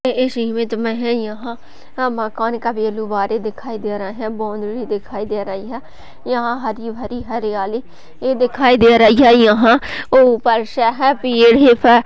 इस इमेज मे है यह मकान का दिखाई दे रहे है बोंद भी दिखाई दे रही है यह हरी भरी हरियाली ए दिखाई दे रही है यहा ऊपर ही पे --